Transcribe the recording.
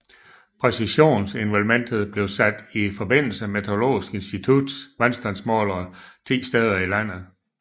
Præcisionsnivellementet blev sat i forbindelse med Meteorologisk Instituts vandstandsmålere 10 steder i landet